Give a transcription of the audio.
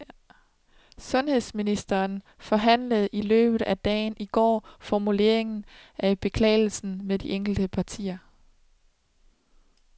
Sundhedshedsministeren forhandlede i løbet af dagen i går formuleringen af beklagelsen med de enkelte partier.